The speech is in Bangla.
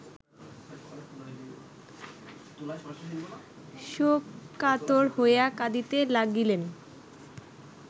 শোককাতর হইয়া কাঁদিতে লাগিলেন